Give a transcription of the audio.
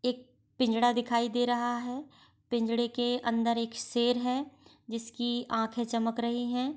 एक पिंजड़ा दिखाई दे रहा है पिंजड़े के अंदर एक शेर है जिसकी आंखें चमक रही है।